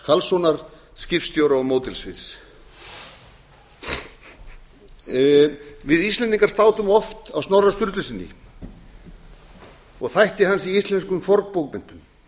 karlssonar skipstjóra og módelsmiðs við íslendingar státum oft af snorra sturlusyni og þætti hans í íslenskum fornbókmenntum